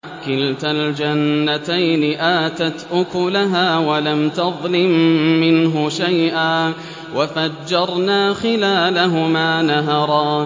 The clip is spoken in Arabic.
كِلْتَا الْجَنَّتَيْنِ آتَتْ أُكُلَهَا وَلَمْ تَظْلِم مِّنْهُ شَيْئًا ۚ وَفَجَّرْنَا خِلَالَهُمَا نَهَرًا